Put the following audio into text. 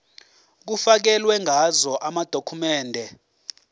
kufakelwe ngazo amadokhumende